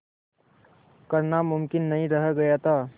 करना मुमकिन नहीं रह गया था